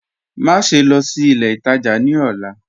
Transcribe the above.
Máṣẹ̀ lọ́ sí ilẹ̀ ìtajá ní ọlá